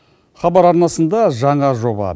хабар арнасында жаңа жоба